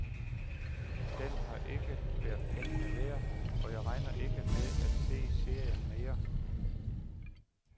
Den har ikke været pengene værd, og jeg regner ikke med at se serien mere.